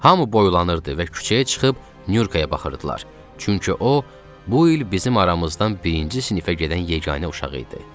Hamı boylanırdı və küçəyə çıxıb Nurkaya baxırdılar, çünki o bu il bizim aramızdan birinci sinifə gedən yeganə uşaq idi.